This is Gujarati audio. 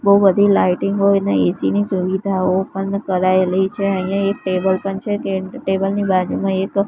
બો બધી લાઇટિંગો ને એ_સી ની સુવિધાઓ પણ કરાયેલી છે અહીંયા એક ટેબલ પણ છે કે ટેબલ ની બાજુમાં એક--